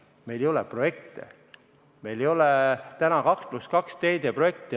Meil ei ole projekte, meil ei ole 2 + 2 teede projekte.